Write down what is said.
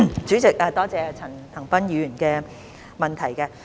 主席，多謝陳恒鑌議員的問題。